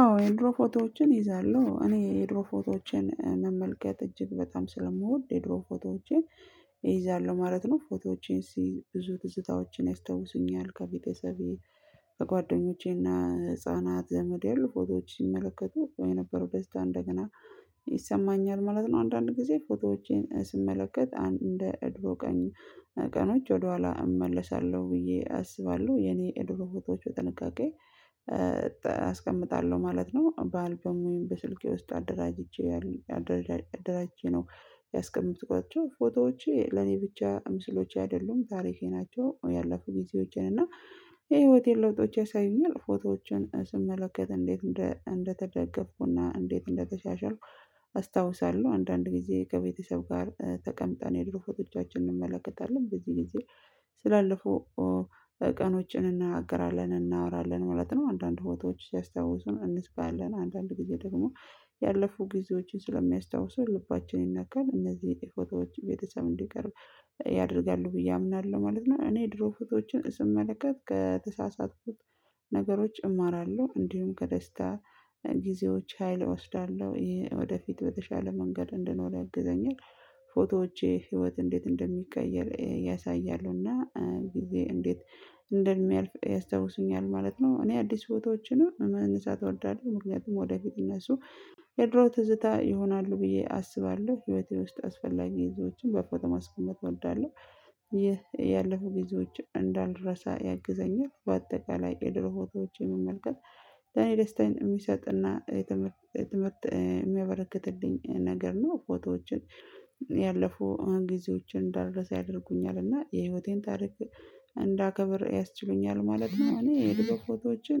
አዎ የድሮ ፎቶዎችን እይዛለሁ። እኔ የድሮ ፎቶዎችን መመልከት እጅግ በጣም ስለምወድ የድሮ ፎቶዎቼን እይዛሉ ማለት ነው። ፎቶዎቼን ስይዝ ብዙ ትዝታዎቼን ያስታውሱኛል ከቤተሰቤ፣ በጓደኞቼና ህፃናት፣ ዘመድ ያሉ ፎቶዎች ሲመለከቱ የነበረው ደስታ እንደገና ይሰማኛል ማለት ነው። አንዳንድ ጊዜ ፎቶዎቼን ስመለከት እንደ ድሮ ቀን ቀኖች ወደኋላ እመለሳለሁ ብዬ አስባለሁ። የኔ የድሮ ፎቶዎች በጥንቃቄ አስቀምጣለሁ ማለት ነው። በአልበም ወይም በስልኬ ውስጥ አደራጅቼ አደራጅቼ ነው ያስቀምጥኳቸው። ፎቶዎቼ ለኔ ብቻ ምስሎቼ አይደሉም ታሪኬ ናቸው ያለፉ ጊዜዎቼን እና የህይወቴን ለውጦቼ ያሳዩኛል። ፎቶዎችን ስመለከት እንዴት እንደተደገፍኩና እንዴት እንደተሻሻልኩ አስታውሳለሁ አንዳንድ ጊዜ ከቤተሰብ ጋር ተቀምጠን የድሮ ፎቶቻችንን እንመለከታለን። በዚህ ጊዜ ስላለፈው ቀኖች እንነጋገራለን፣ እናወራለን ማለት ነው። አንዳንድ ፎቶዎች ሲያስታውሱን እንስካለን አንዳንድ ጊዜ ደግሞ ያለፉ ጊዜዎችን ስለሚያስታውሱን ልባችን ይነካል። እነዚህ ፎቶዎች ቤተሰብ እንዲቀርብ ያደርጋሉ ብዬ አምናለሁ ማለት ነው እኔ ድሮ ፎቶዎችን ስመለከት ከተሳሳተኩት ነገሮች እማራለሁ እንዲሁም ከደስታ ጊዜዎች ሀይል እወስዳለሁ ይሄ ወደፊት በተሻለ መንገድ እንድኖር ያግዘኛል ፎቶዎቼ ህይወት እንዴት እንደሚቀየር ያሳያሉና ጊዜ እንዴት እንደሚያልፍ ያስታውሱኛል ማለት ነው እኔ አዲስ ፎቶዎችን መነሳት እወደዋለሁ ምክንያቱም ወደፊት እነሱ የድሮ ትዝታ ይሆናሉ ብዬ አስባለሁ ህይወቴ ውስጥ አስፈላጊ ግዜዎችን በፎቶ ማስቀመጥ እወዳለሁ ይህ ያለፉ ጊዜዎችን እንዳልረሳ ያግዘኛል በአጠቃላይ የድሮ ፎቶዎችን መመልከት ለኔ ደስታን የሚሰጥና ምርጥ የሚያበረክትልኝ ነገር ነው ፎቶዎችን ያለፉ ጊዜዎችን እንዳደረሰ ያደርጉኛል እና የህይወቴን ታሪክ እንዳከብር ያስችሉኛል ማለት ነው እኔ የዱሮ ፎቶዎችን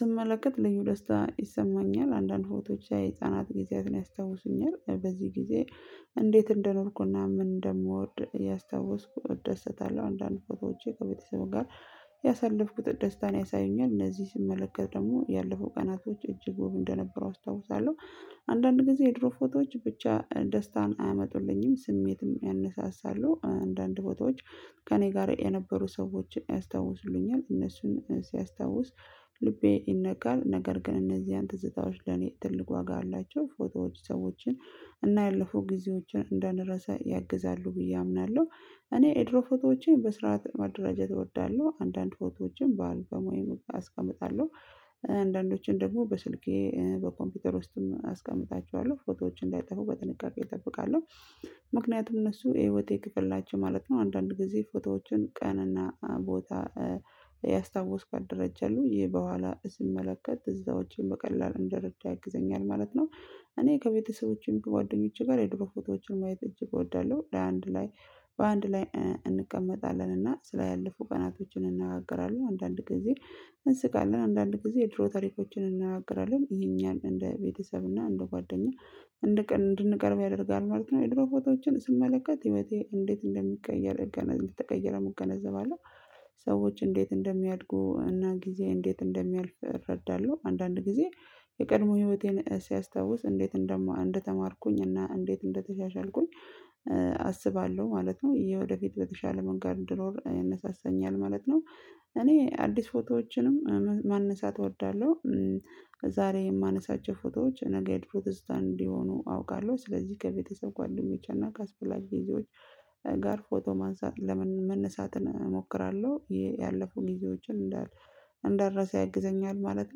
ስመለከት ልዩ ደስታ ይሰማኛል አንዳንድ ፎቶች የህፃናት ጊዜያትን ያስታውሱኛል በዚህ ጊዜ እንዴት እንደነርኩና ምን እንደምወድ ያስታውስኩት ደስታ አለው አንዳንድ ፎቶዎቼ ከቤተሰብ ጋር ያሳለፍኩት ደስታን ያሳዩኛል እነዚህ ስመለከት ደግሞ ያለፈው ቀናቶች እጅግ ወብ እንደነበረው አስታውሳለሁ አንዳንድ ጊዜ የድሮ ፎቶዎች ብቻ ደስታን አያመጡልኝም ስሜትም ያነሳሳሉ አንዳንድ ፎቶዎች ከእኔ ጋር የነበሩ ሰዎችን ያስታውሱኛል እነሱን ሲያስታውስ ልቤ ይነጋል ነገር ግን እነዚህን ትዝታዎች ለኔ ትልቅ ዋጋ አላቸው ፎቶዎች ሰዎችን እና ያለፉ ጊዜዎችን እንዳንረሳ ያግዛሉ ብዬ አምናለሁ እኔ የድሮ ፎቶዎቼን በስርዓት መደረጃት እወዳለሁ አንዳንድ ፎቶዎችን በአልበም አስቀምጣለሁ አንዳንዶችን ደግሞ በስልኬ በኮምፒውተር ውስጥም አስቀምጣቸዋለሁ ፎቶዎችን እንዳይጠፉ በጥንቃቄ እጠብቃለሁ ምክንያቱም እነሱ የህይወቴ ክፍል ናቸሁ ማለት ነው አንዳንድ ጊዜ ፎቶዎችን ቀንና ቦታ እያስታውስኩ አደረጃለሁ ይሄ በኋላ ስመለከት ትዝታዎችን በቀላል እንደረዳ ያግዘኛል ማለት ነው እኔ ከቤተሰቦቼም ከጓደኞቼ ጋር የድሮ ፎቶዎችን ማየት እጅ እጎዳለሁ ለአንድ ላይ በአንድ ላይ እንቀመጣለን እና ስላለፉ ቀናቶችን እናገራለሁ አንዳንድ ጊዜ እንስቃለን አንዳንድ ጊዜ ድሮ ታሪኮችን እናገራለን ይሄንያህል እንደ ቤተሰብ እና እንደ ጓደኛ እንድንቀርብ ያደርጋል ማለት ነው የድሮ ፎቶዎችን ስመለከት ህይወቴ እንዴት እንደሚቀየር እገነዘብ እመገነዘባለው ሰዎች እንዴት እንደሚያድጉ እና ጊዜ እንዴት እንደሚያልፍ እረዳለሁ አንዳንድ ጊዜ የቀድሞ ህይወቴን ሲያስታውስ እንዴት እንደተማርኩኝ እና እንዴት እንደተሻሻልኩኝ አስባለሁ ማለት ነው ይሄ ወደፊት በተሻለ መንገድ እንድኖር ያነሳሰኛል ማለት ነው እኔ አዲስ ፎቶዎችንም ማነሳት እወዳለሁ ዛሬ የማነሳቸው ፎቶዎች ነገ ፎቶዎች ነጌ የዱሮ ትዝታ እንዲሆኑ አውቃለሁ ስለዚህ ከቤተሰብ ጓደኞቻችን እና ከአስፈላጊ ጊዜዎች ጋር ፎቶ ማንሳት መነሳትን እሞክራለሁ ያለፉን ጊዜዎችን እንዳል እንዳልረሳ ያግዘኛል ማለት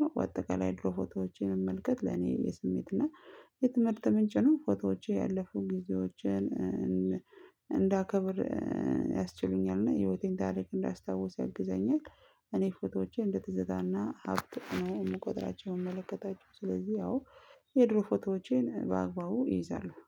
ነው በአጠቃላይ ድሮ ፎቶዎችን መመልከት ለኔ የስሜት እና የትምህርት ምንጭ ነው ፎቶዎቼ ያለፉ ጊዜዎችን እንዳከብር ያስችሉኛል እና የህይወቴን ታሪክ እንዳስታውሰው ያግዘኛል እኔ ፎቶዎቼ እንደትዝታና ሀብት እኔ የምቆጥራቸውን የመለከታቸው ስለዚህ ያው የድሮ ፎቶዎቼን በአግባቡ ይይዛለሁ